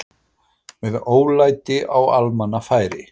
Með ólæti á almannafæri